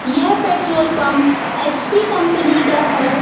यह petrol pump HP company का है।